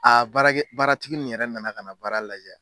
baarakɛ baaratigi nin yɛrɛ nana ka na baara lajɛ.